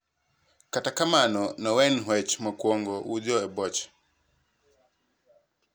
Kata kamano, noen hwech mokwongo wutho e boche.